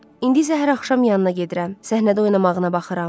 İndi isə hər axşam yanına gedirəm, səhnədə oynamağına baxıram.